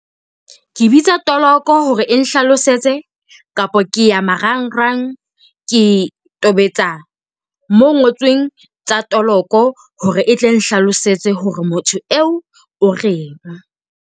Ke bitsa toloko hore e nhlalosetse, kapa ke ya marangrang ke tobetsa mo ho ngotsweng tsa toloko hore e tle e nhlalosetse hore motho eo o reng.